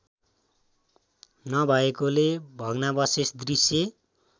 नभएकोले भग्नावशेष दृश्य